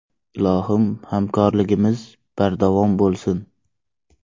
Ilohim hamkorligimiz bardavom bo‘lsin.